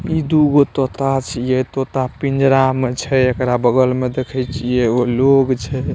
इ दुगो तोता छिए तोता पिंजरा में छै एकरा बगल में देखई छिए एगो लोग छै।